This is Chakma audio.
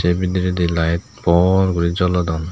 se bedirendi light por guri jolodon.